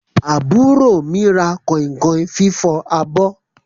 Àbúrò mi ra kọ̀inkọ̀in fifọ abọ́.